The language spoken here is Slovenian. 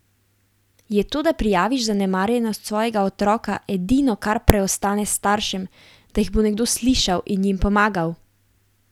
Je to, da prijaviš zanemarjenost svojega otroka, edino, kar preostane staršem, da jih bo nekdo slišal in jim pomagal?